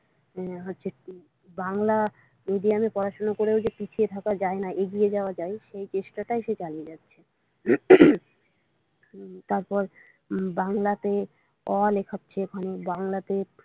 হম হচ্ছে বাংলা মিডিয়ামে পড়াশোনা করেও যে পিছিয়ে থাকা না এগিয়ে যাওয়া যায় সেই চেষ্টা টাই সে চালিয়ে যাচ্ছে উম তারপর বাংলাতে অ লেখাচ্ছে ওখানে বাংলাতে।